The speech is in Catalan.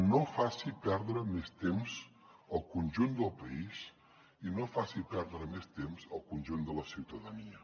no faci perdre més temps al conjunt del país i no faci perdre més temps al conjunt de la ciutadania